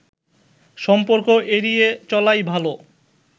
সম্পর্ক এড়িয়ে চলাই ভালো